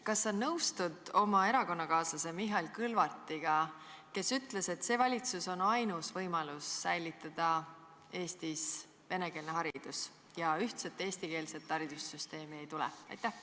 Kas sa nõustud oma erakonnakaaslase Mihhail Kõlvartiga, kes ütles, et see valitsus on ainus võimalus säilitada Eestis venekeelne haridus, ja ühtset eestikeelset haridussüsteemi ei tule?